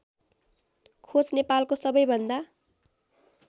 खोंच नेपालको सबैभन्दा